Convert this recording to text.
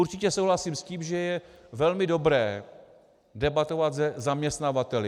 Určitě souhlasím s tím, že je velmi dobré debatovat se zaměstnavateli.